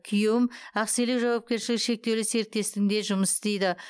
күйеуім ақселеу жауапкершілігі шектеулі серіктестігінде жұмыс істейді